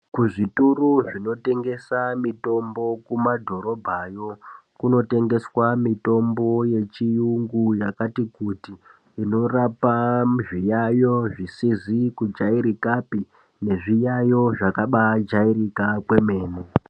Kuzvitoro zvinotengesa mitombo kumadhoribhayo kunotengeswa mitombo yechiyungu yakati kuti inorapa zviyayo zvisizi kujairikapi nezviyayo zvakabaajairika kwemene.